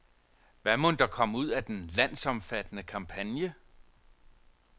Hvad mon der kom ud af den landsomfattende kampagne?